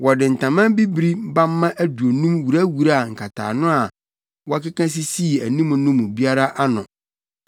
Wɔde ntama bibiri bamma aduonum wurawuraa nkataano a wɔkeka sisii anim no mu biara ano